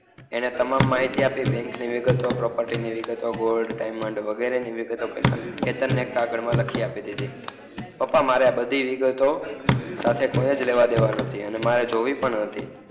એને તમામ માહિતી આપી બેન્ક ની વિગતો property ની વિગતો gold diamond વગેરેની વિગતો કેતનને એક કાગળમા લખી આપી દિધી પપ્પા મારે આ બધી વિગતો સાથે કોઈજ લેવાદેવા નથી અને મારે જોવી પણ નથી